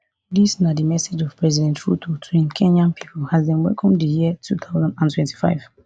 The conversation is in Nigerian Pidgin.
dis na di message of president ruto to im kenyan pipo as dem welcome di year two thousand and twenty-five